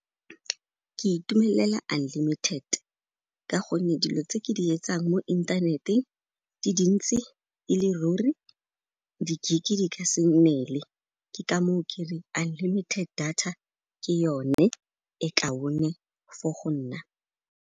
Ke itumelela unlimited ka gonne dilo tse ke di etsang mo inthaneteng di dintsi ele ruri, di gig di ka se nneele, ke ka moo ke reng unlimited data ke yone e ka one for go nna.